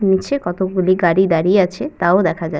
নিচে কতগুলি গাড়ি দাঁড়িয়ে আছে। তাও দেখা যা --